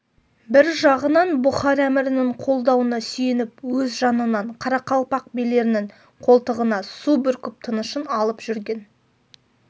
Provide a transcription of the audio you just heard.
бір жағынан бұхар әмірінің қолдауына сүйеніп өз жанынан қарақалпақ билерінің қолтығына су бүркіп тынышын алып жүрген